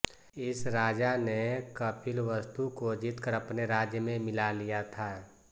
इस राजा ने कपिलवस्तु को जीतकर अपने राज्य में मिला लिया था